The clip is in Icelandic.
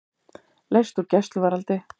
Leyst úr gæsluvarðhaldi